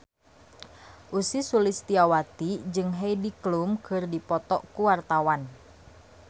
Ussy Sulistyawati jeung Heidi Klum keur dipoto ku wartawan